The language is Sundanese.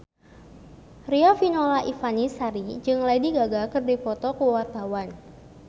Riafinola Ifani Sari jeung Lady Gaga keur dipoto ku wartawan